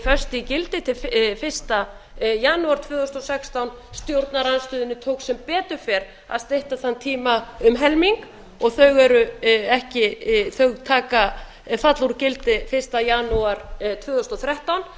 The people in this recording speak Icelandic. föst í gildi til janúar tvö þúsund og sextán stjórnarandstöðunni tókst sem betur fer að stytta þann tíma um helming þau falla úr gildi fyrsta janúar tvö þúsund og þrettán